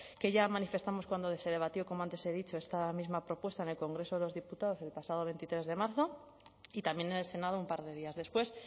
que ya manifestamos cuando se debatió como antes he dicho esta misma propuesta en el congreso de los diputados el pasado veintitrés de marzo y también en el senado un par de días después